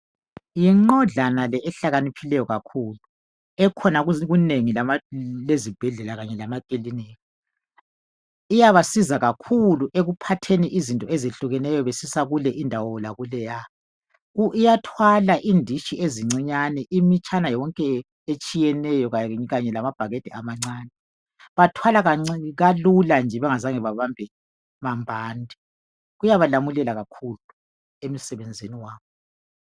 Yinqodlana le eloncedo kakhulu iyabasiza kakhulu ekuphathiseni izigulane kulendawo lakuleya ,iyawathwala amabhakede amakhulu lancane linqola bengazange bathwala nzima ,iyabanceda kakhulu.